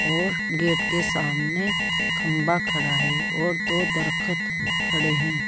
और गेट के सामने खंभा खड़ा है और दो दरखत खड़े है।